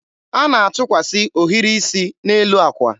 a na-atụkwasị ohiri isi n'elu akwa.